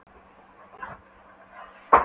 Loftið var þykkt af matarlykt og kryddangan.